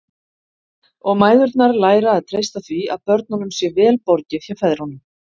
Og mæðurnar læra að treysta því að börnunum sé vel borgið hjá feðrunum.